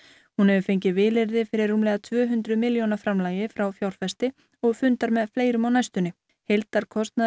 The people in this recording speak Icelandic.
hún hefur fengið vilyrði fyrir rúmlega tvö hundruð milljóna framlagi frá fjárfesti og fundar með fleirum á næstunni heildarkostnaður